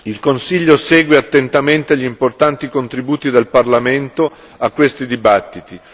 Il Consiglio segue attentamente gli importanti contributi del Parlamento a questi dibattiti.